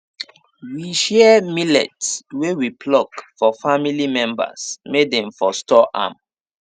we share millet wey we pluck for family members may dem for store am